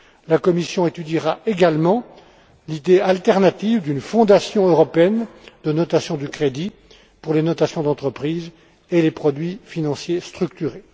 La Commission étudiera, également, l'idée alternative d'une Fondation européenne de notation du crédit pour les notations d'entreprise et les produits financiers structurés.